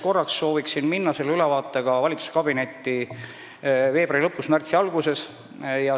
Uuesti soovin minna selle ülevaatega valitsuskabinetti veebruari lõpus või märtsi alguses.